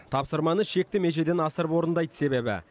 тапсырманы шекті межеден асырып орындайды себебі